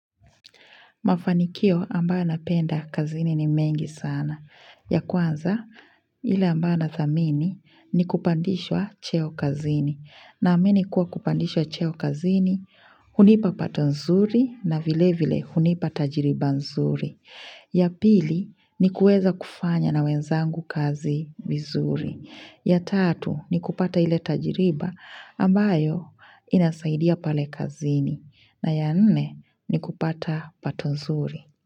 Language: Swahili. Mafanikio ambayo napenda kazini ni mengi sana. Ya kwanza, ile ambayo nadhamini ni kupandishwa cheo kazini. Naamini kuwa kupandishwa cheo kazini, hunipa pato nzuri na vile vile hunipa tajiriba nzuri. Ya pili, ni kuweza kufanya na wenzangu kazi vizuri. Ya tatu, ni kupata ile tajiriba ambayo inasaidia pale kazini. Na ya nne ni kupata pato nzuri.